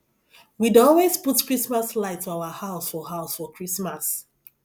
we dey always put chrismas light for our house for house for christmas